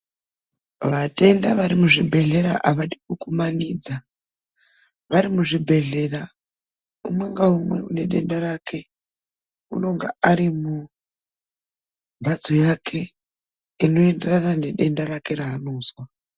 Vatenda vari muzvibhedhlera avadi kugumanidza. Vari muzvibhedhlera umwe ngaumwe ane denda rake anenge ari mumbatso yake inoenderana nedenda rake raanozwa.